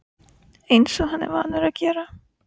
Eins og hann er vanur að gera.